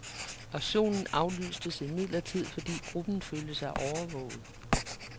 Aktionen aflystes imidlertid, fordi gruppen følte sig overvåget.